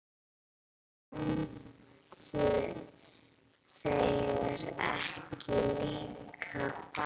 Myndu þeir ekki líka fara?